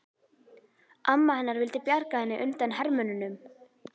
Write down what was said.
Amma hennar vildi bjarga henni undan hermönnunum.